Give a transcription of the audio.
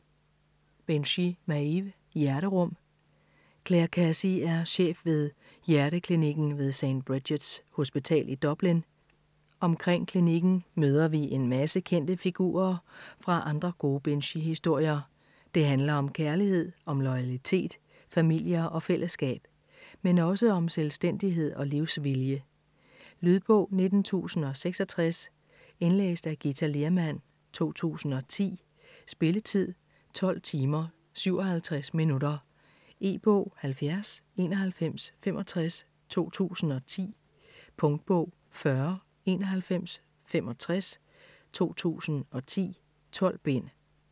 Binchy, Maeve: Hjerterum Clare Casey er chef ved hjerteklinikken ved St. Bridgets hospital i Dublin, omkring klinikken møder vi en masse kendte figurer fra andre gode Binchy-historier, det handler om kærlighed, om loyalitet, familier og fællesskab. Men også om selvstændighed og livsvilje. Lydbog 19066 Indlæst af Githa Lehrmann, 2010. Spilletid: 12 timer, 57 minutter. E-bog 709165 2010. Punktbog 409165 2010. 12 bind.